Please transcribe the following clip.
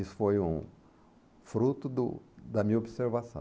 Isso foi um fruto do da minha observação.